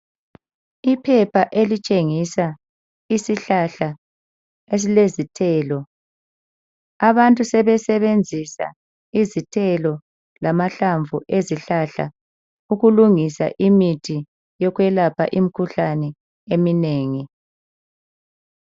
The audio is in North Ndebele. Iphepha esitshengisa isihlahla esilezithelo. Abantu sebesebenzisa izithelo lamahlamvu ezihlahla ukulingisa imithi yokwelapha imikhuhlane eminengi,.